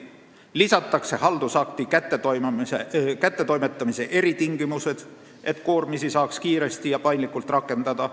Seadusesse lisatakse haldusakti kättetoimetamise eritingimused, et koormisi saaks kiiresti ja paindlikult rakendada.